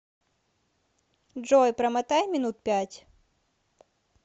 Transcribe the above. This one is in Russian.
джой промотай минут пять